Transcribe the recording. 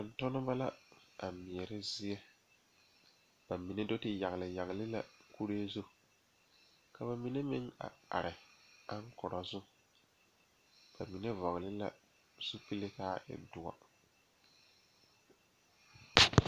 Noba bayoɔbo naŋ are tabol zu bayi meŋ zeŋ la dakogi zu ka bayi meŋ are ka kaŋa su kpare naŋ waa pelaa.